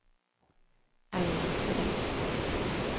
Aina Strid